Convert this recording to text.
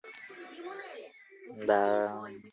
да